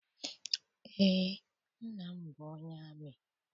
Eé, nna m bụ onye amị